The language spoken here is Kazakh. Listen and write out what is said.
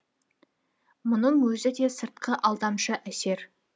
мұның өзі де сыртқы алдамшы әсер